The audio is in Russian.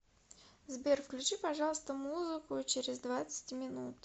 сбер включи пожалуйста музыку через двадцать минут